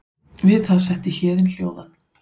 Við það setti Héðin hljóðan.